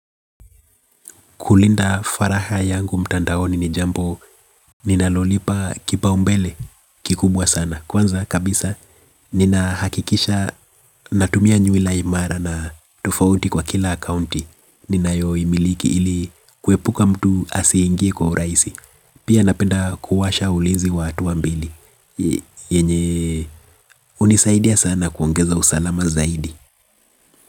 Kulinda faragha yangu mtandaoni ni jambo ninalolipa kipaumbele kikubwa sana. Kwanza kabisa nina hakikisha natumia nywila imara na tofauti kwa kila akaunti. Ninayo imiliki ili kuepuka mtu asiingie kwa urahisi. Pia napenda kuwasha ulinzi wa hatua mbili. Yenye hunisaidia sana kuongeza usalama zaidi.